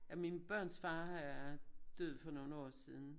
Ja mine børns far er død for nogle år siden